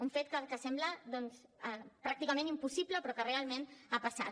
un fet que sembla doncs pràcticament impossible però que realment ha passat